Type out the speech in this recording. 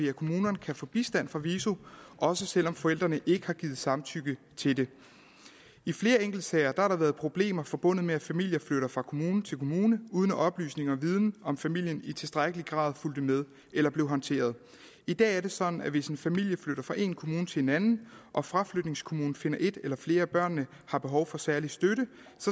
at kommunerne kan få bistand fra viso også selv om forældrene ikke har givet samtykke til det i flere enkeltsager har der været problemer forbundet med at familier flytter fra kommune til kommune uden at oplysning og viden om familien i tilstrækkelig grad fulgte med eller blev håndteret i dag er det sådan at hvis en familie flytter fra en kommune til en anden og fraflytningskommunen finder at et eller flere af børnene har behov for særlig støtte